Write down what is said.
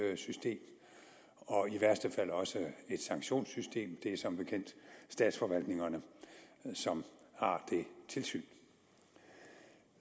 og i værste fald også et sanktionssystem det er som bekendt statsforvaltningerne som har det tilsyn